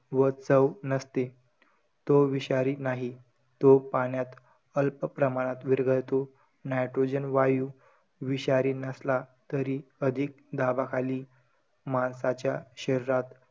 व चव नसते. तो विषारी नाही. तो पाण्यात अल्प प्रमाणात विरघळतो. nitrogen वायू विषारी नसला तरी, अधिक दाबाखाली, माणसाच्या शरीरात,